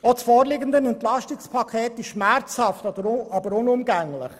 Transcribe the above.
Das vorliegende EP ist schmerzhaft, aber unumgänglich.